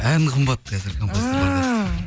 ән қымбат қазір композиторларда